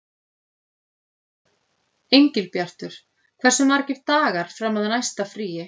Engilbjartur, hversu margir dagar fram að næsta fríi?